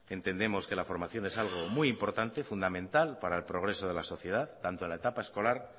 entendemos que la formación es algo muy importante fundamental para el progreso de la sociedad tanto en la etapa escolar